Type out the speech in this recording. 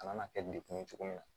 A kan ka kɛ dekun ye cogo min na